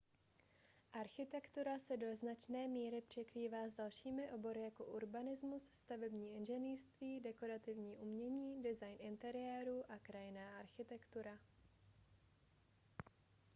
architektura se do značné míry překrývá s dalšími obory jako urbanismus stavební inženýrství dekorativní umění design interiérů a krajinná architektura